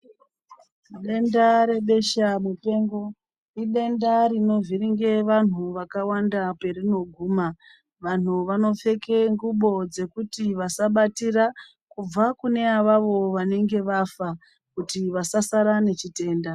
Denda redesha mupengo idenda rinovhiringe vantu vakawanda perinoguma. Vantu vanopfeke ngubo dzekuti vasabatira kubva kune avavo vanenge vafa kuti vasasara nechitenda.